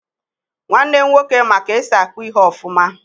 Nwannem nwoke ma ka esi akpụ ihe ofuma.